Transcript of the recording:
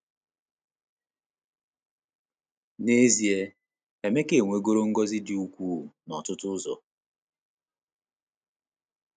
N’ezie, Emeka enwegoro ngọzi dị ukwuu n’ọtụtụ ụzọ.